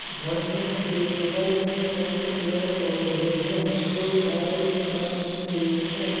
झरने के बगल में कई पेड़-पौधे हैं जो हरे रंग के हैं।